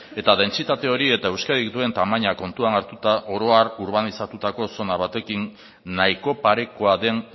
eta dentsitate hori eta euskadik duen tamaina kontutan hartuta oro har urbanizatutako zona batekin nahiko parekoa den